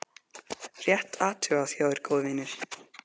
Rétt athugað hjá þér góði vinur.